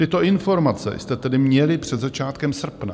Tyto informace jste tedy měli před začátkem srpna.